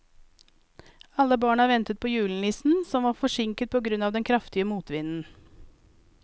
Alle barna ventet på julenissen, som var forsinket på grunn av den kraftige motvinden.